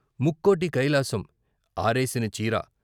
ముక్కోటి కైలాసం ఆరేసిన చీర